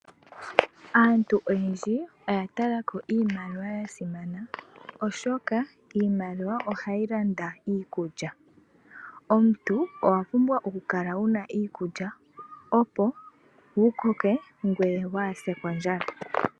Aantu oyendji oya talako iimaliwa yasimana oshoka iimaliwa ohayi landa iikulya. Omuntu owa pumbwa okukala wuna iikulya opo wukoke ngweye waase kondjala.